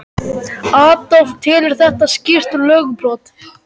Adolf telur þetta skýrt lögbrot.